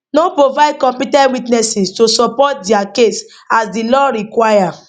no provide compe ten t witnesses to to support dia case as di law require